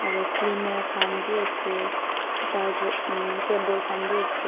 aro cleaner khan bi ase charger um cable khan bi ase.